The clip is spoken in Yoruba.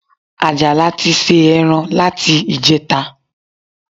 Àjàlá ti se ẹran láti ìjẹta